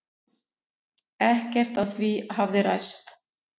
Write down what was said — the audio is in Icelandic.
Ekkert af því hafi ræst.